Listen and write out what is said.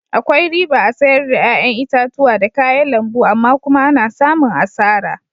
Akwai riba a'sayar da yayan itatuwa da kayan lambu amma kuma ana samun asara.